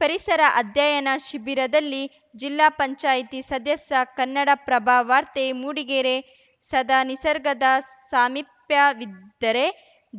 ಪರಿಸರ ಅಧ್ಯಯನ ಶಿಬಿರದಲ್ಲಿ ಜಿಲ್ಲಾ ಪಂಚಾಯ್ತಿ ಸದಸ್ಯ ಕನ್ನಡಪ್ರಭ ವಾರ್ತೆ ಮೂಡಿಗೆರೆ ಸದಾ ನಿಸರ್ಗದ ಸಾಮೀಪ್ಯವಿದ್ದರೆ